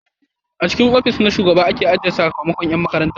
A cikin ofis na shugaba aka ajiye sakamakon yan makarantar